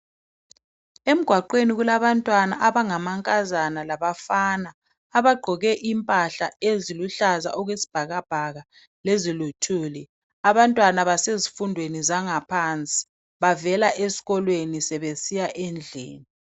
Emgaqweni kulabantwana abangamankazana labafana abagqoke impahla eziluhlaza okwesibhakabhaka leziluthuli abantwana basezifundweni zangaphansi bavela eskolweni sebesiya endlini.